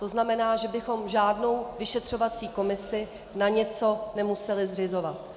To znamená, že bychom žádnou vyšetřovací komisi na něco nemuseli zřizovat.